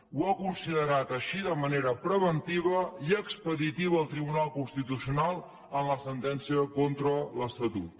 ho ha considerat així de manera preventiva i expeditiva el tribunal constitucional en la sentència contra l’estatut